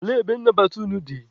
Olee ebe nnabata unu dị?